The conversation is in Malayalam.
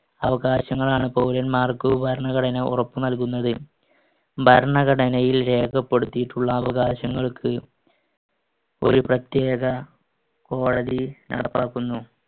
അവകാശങ്ങളാണ് പൗരൻമാർക്ക്‌ ഭരണഘടന ഉറപ്പുനൽകുന്നത്. ഭരണഘടനയിൽ രേഖപ്പെടുത്തിയിട്ടുള്ള അവകാശങ്ങൾക്ക് ഒരു പ്രത്യേക കോടതി നടപ്പാക്കുന്നു.